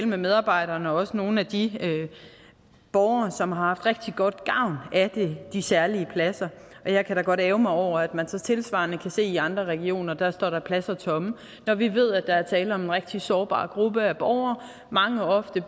med medarbejderne og også nogle af de borgere som har haft rigtig god gavn af de særlige pladser og jeg kan da godt ærgre mig over at man så tilsvarende kan se i andre regioner at der står pladser tomme når vi ved at der er tale om en rigtig sårbar gruppe af borgere mange ofte